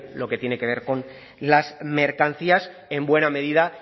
lo que tiene que ver con las mercancías en buena medida